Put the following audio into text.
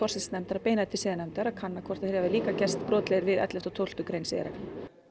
forsætisnefndar að beina því til siðanefndar að kanna hvort þeir hafi líka gerst brotlegir við elleftu og tólftu grein siðareglna